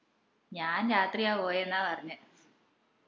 ഞാൻ രാത്രിയാ പോയെന്ന പറഞ്ഞെ